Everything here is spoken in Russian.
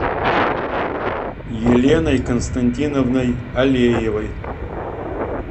еленой константиновной алеевой